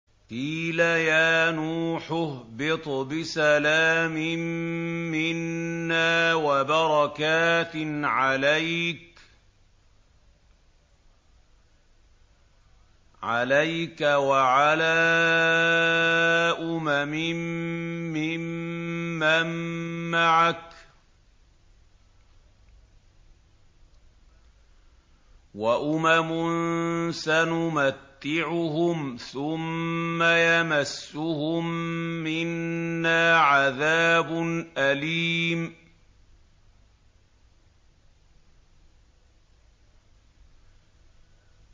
قِيلَ يَا نُوحُ اهْبِطْ بِسَلَامٍ مِّنَّا وَبَرَكَاتٍ عَلَيْكَ وَعَلَىٰ أُمَمٍ مِّمَّن مَّعَكَ ۚ وَأُمَمٌ سَنُمَتِّعُهُمْ ثُمَّ يَمَسُّهُم مِّنَّا عَذَابٌ أَلِيمٌ